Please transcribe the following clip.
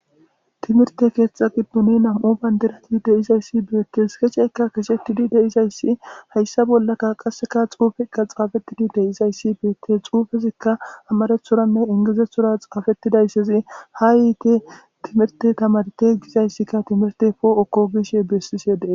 Timirte keththa giddoni Nam'u bandirati dizzayisi bettes kexxetidi de'izzayisi hayssa bollaka qasseka xuffeka xaffetidi de'izayisi bettes xuffezika amarathoranne ingilizethora xaffetidayisi ha yitte timirte tamarite gizzayisika timirttey pooko gishshe besishe dees.